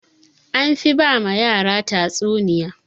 Anfi ba ma yara tatsuniya.